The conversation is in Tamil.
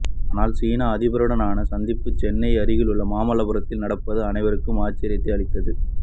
ஆனால் சீன அதிபருடனான சந்திப்பு சென்னை அருகேயுள்ள மாமல்லபுரத்தில் நடப்பது அனைவருக்கும் ஆச்சரியத்தை அளித்தது